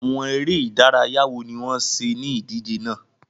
Àwọn ère ìdárayá wo ni wọn ṣe ni idije náà?